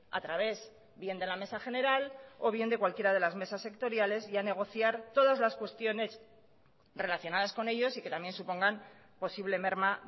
a través bien de la mesa general o bien de cualquiera de las mesas sectoriales y a negociar todas las cuestiones relacionadas con ellos y que también supongan posible merma